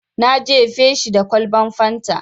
Na jefe shi da kwalban fanta.